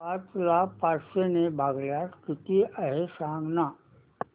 पाच ला पाचशे ने भागल्यास किती आहे सांगना